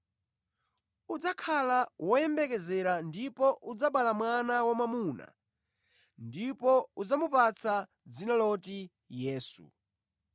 Udzakhala woyembekezera ndipo udzabala mwana wamwamuna ndipo udzamupatse dzina loti Yesu.